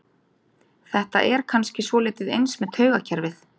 Þetta er kannski svolítið eins með taugakerfið.